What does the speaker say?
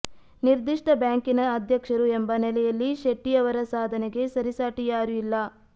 ನಿರ್ದಿಷ್ಟ ಬ್ಯಾಂಕಿನ ಅಧ್ಯಕ್ಷರು ಎಂಬ ನೆಲೆಯಲ್ಲಿ ಶೆಟ್ಟಿ ಅವರ ಸಾಧನೆಗೆ ಸರಿಸಾಟಿ ಯಾರೂ ಇಲ್ಲ